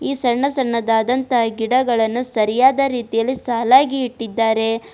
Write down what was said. ಸಣ್ಣ ಸಣ್ಣದಾದಂತ ಗಿಡಗಳನ್ನು ಸರಿಯಾದ ರೀತಿಯಲ್ಲಿ ಸಾಲಾಗಿ ಇಟ್ಟಿದ್ದಾರೆ.